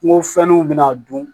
Kungo fɛnnuw be na dun